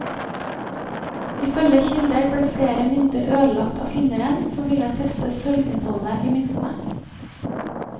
Ifølge kilder ble flere mynter ødelagt av finneren som ville teste sølvinnholdet i myntene.